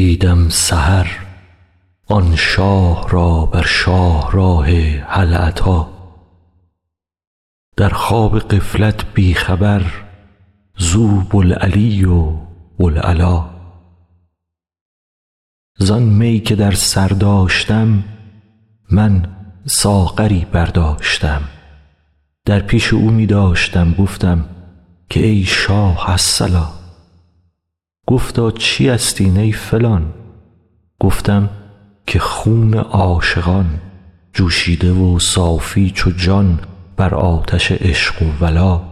دیدم سحر آن شاه را بر شاهراه هل اتی در خواب غفلت بی خبر زو بوالعلی و بوالعلا زان می که در سر داشتم من ساغری برداشتم در پیش او می داشتم گفتم که ای شاه الصلا گفتا چیست این ای فلان گفتم که خون عاشقان جوشیده و صافی چو جان بر آتش عشق و ولا